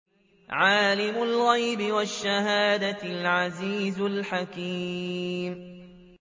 عَالِمُ الْغَيْبِ وَالشَّهَادَةِ الْعَزِيزُ الْحَكِيمُ